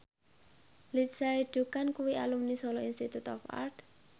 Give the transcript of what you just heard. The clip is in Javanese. Lindsay Ducan kuwi alumni Solo Institute of Art